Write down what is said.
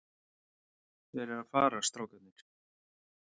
Þeir eru að fara, strákarnir.